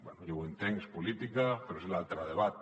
bé ja ho entenc és política però és l’altre debat